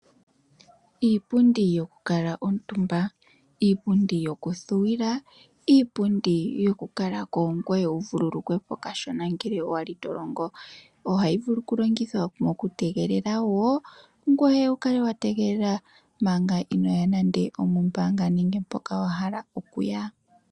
Iipundi yoku kala omutumba, iipundi yoku thuwila. Iipundi yoku kala ko ngoye wu vululukwe po kashona ngele wali to longo. Ohayi vulu oku longithwa moku tegelela wo, ngoye wu kale wa tegelela manga inoya nande omombaanga nenge mpoka wa hala okuya